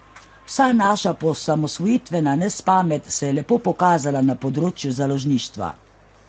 Vsa naša poosamosvojitvena nespamet se je lepo pokazala na področju založništva.